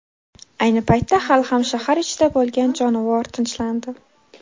Ayni paytda hali ham shahar ichida bo‘lgan jonivor tinchlandi.